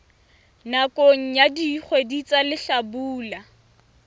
nakong ya dikgwedi tsa hlabula